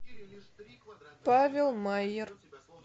павел майер